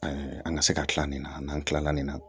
an ka se ka kila nin na n'an kilala nin na